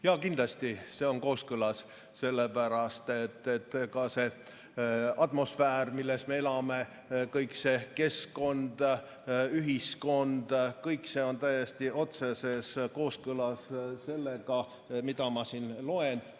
Jaa, kindlasti see on kooskõlas, sellepärast et ka see atmosfäär, milles me elame, kõik see keskkond, ühiskond, kõik see on täiesti otseses kooskõlas sellega, mida ma siin ette loen.